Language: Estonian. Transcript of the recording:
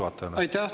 Aitäh!